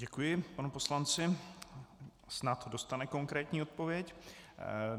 Děkuji panu poslanci, snad dostane konkrétní odpověď.